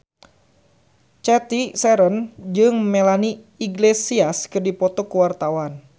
Cathy Sharon jeung Melanie Iglesias keur dipoto ku wartawan